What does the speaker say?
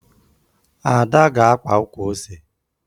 Ada ga-akpa ukwu ose